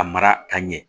A mara ka ɲɛ